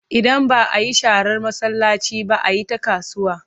Idan ba a yi sharar masallaci ba, a yi ta kasuwa.